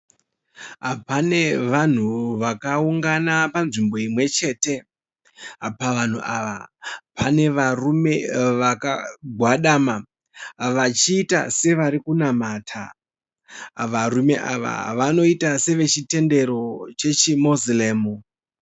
Pane vanhu vakaungana panzvimbo imwechete. Pavanhu ava pane varume vakagwadama vachiita sevari kunamata. Varume ava vanoita sevechitendero chechiMoziremu.